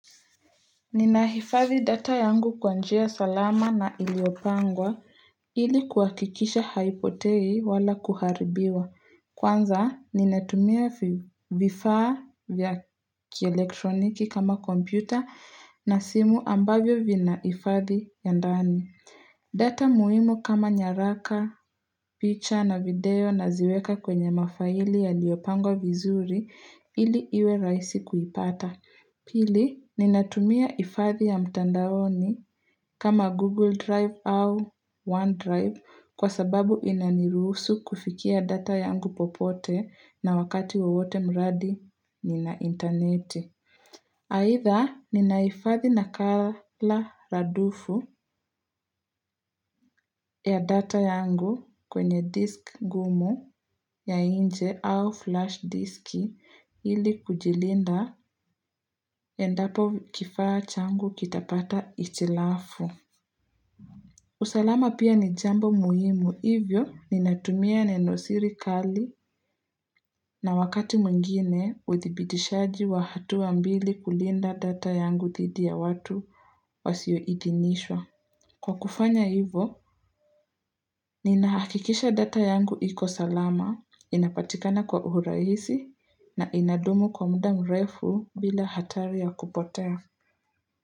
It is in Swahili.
Ninahifadhi data yangu kwa njia salama na iliopangwa ili kuhakikisha haipotei wala kuharibiwa. Kwanza, ninatumia vifaa vya kielektroniki kama kompyuta na simu ambavyo vinahifadhi ya ndani. Data muhimu kama nyaraka, picture na video naziweka kwenye mafaili yaliyopangwa vizuri ili iwe rahisi kuipata. Pili, ninatumia ifadhi ya mtandaoni kama Google Drive au OneDrive kwa sababu inanirusu kufikia data yangu popote na wakati wowote mradi ni na intaneti aitha, ninahifadhi nakala radufu ya data yangu kwenye disk gumu ya nje au flash diski ili kujilinda endapo kifaa changu kitapata hitilafu. Usalama pia ni jambo muhimu, hivyo ninatumia neno siri kali na wakati mwingine, uthibitishaji wa hatua mbili kulinda data yangu dhidi ya watu wasioidhinishwa. Kwa kufanya hivo, ninahakikisha data yangu iko salama, inapatikana kwa urahisi, na inadumu kwa muda mrefu bila hatari ya kupotea.